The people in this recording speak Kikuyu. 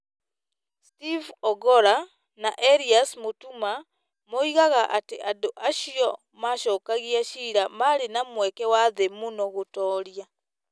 Steve Ogolla na Elias Mũtuma, moigaga atĩ andũ acio macookagia ciira marĩ na mweke wa thĩ mũno gũtooria,